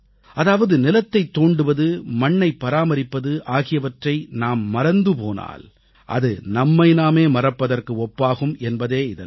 அதாவது நிலத்தைத் தோண்டுவது மண்ணைப் பராமரிப்பது எப்படி என்பதை நாம் மறந்து போனால் அது நம்மை நாமே மறப்பதற்கு ஒப்பாகும் என்பதே இதன் பொருள்